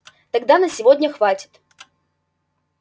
тогда на сегодня хватит